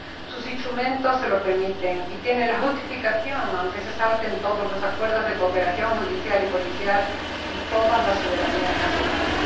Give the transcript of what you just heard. Sus instrumentos se lo permiten y tienen la justificación, aunque se salten todos los acuerdos de cooperación judicial y policial, y todas las soberanías nacionales.